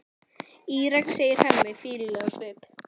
Írak, segir Hemmi, fýlulegur á svip.